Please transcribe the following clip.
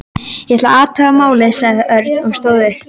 Ég ætla að athuga málið, sagði Örn og stóð upp.